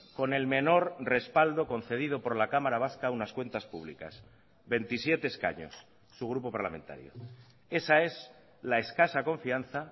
con el menor respaldo concedido por la cámara vasca a unas cuentas públicas veintisiete escaños su grupo parlamentario esa es la escasa confianza